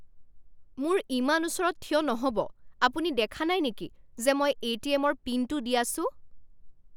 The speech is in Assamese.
মোৰ ইমান ওচৰত থিয় নহ'ব! আপুনি দেখা নাই নেকি যে মই এ.টি.এম.ৰ পিনটো দি আছোঁ?